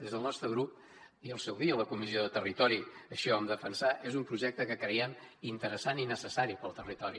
des del nostre grup i al seu dia a la comissió de territori així ho vam defensar és un projecte que creiem interessant i necessari per al territori